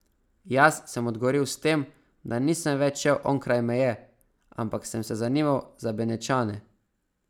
Jaz sem odgovoril s tem, da nisem več šel onkraj meje, ampak sem se zanimal za Benečane.